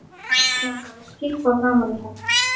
Langar að skyrpa framan í hann.